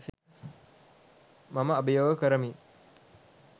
මම අභියෝග කරමි.